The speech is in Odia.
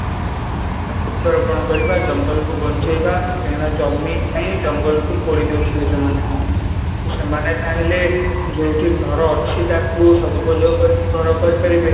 ଆଉ ବୃକ୍ଷ ରୋପଣ କରିବା ଜଙ୍ଗଲ କୁ ବଞ୍ଚେଇବା କାହିଁକିନା ଜମି ପାଇଁ ଜଙ୍ଗଲ କୁ ପୋଡିଦେଉଛନ୍ତି ସେମାନେ ତ ସେମାନେ ଚାହିଁଲେ ଯୋଉଠି ଘର ଅଛି ତାକୁ ସଦୁପଯୋଗ କରି କି ଘର କରିପାରିବେ